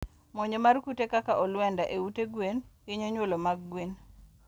Monjo mar kute kaka olwenda e ute gwen hinyo nyuolo mag gwen